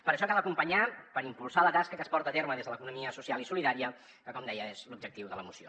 per això cal acompanyar per impulsar la tasca que es porta a terme des de l’economia social i solidària que com deia és l’objectiu de la moció